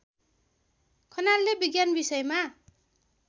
खनालले विज्ञान विषयमा